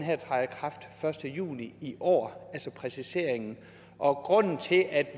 første juni i år altså præciseringen og grunden til at